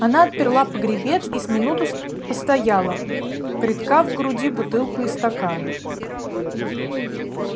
она отперла погребец и с минуту с постояла приткав к груди бутылку и стакан